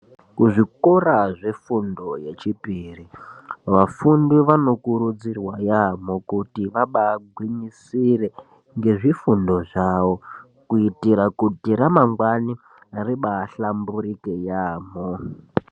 Kuzvikora zvefundo yechipiri Vafundi vanokurudzirwa yamho kuti vabaa gwinyisire ngezvifundo zvavo kuitira kuti ramangwani ribahlamburike yamho